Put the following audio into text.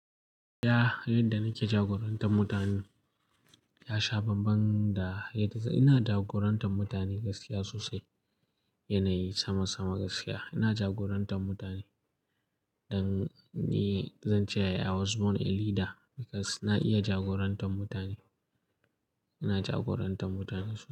Ya, yadda nake jagorantar mutane ya sha bambam da yadda ina jagorantar mutane gaskiya sosai, yanayi sama sama gaskiya. Ina jagorantar mutane dan ni zan ce I was born a leader because na iya jagorantar mutane. Ina jagorantar mutane sosai.